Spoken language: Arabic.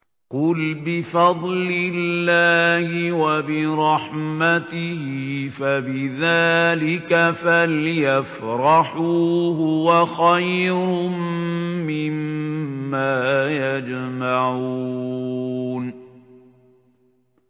قُلْ بِفَضْلِ اللَّهِ وَبِرَحْمَتِهِ فَبِذَٰلِكَ فَلْيَفْرَحُوا هُوَ خَيْرٌ مِّمَّا يَجْمَعُونَ